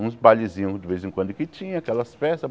Uns bailezinhos de vez em quando que tinha, aquelas festas.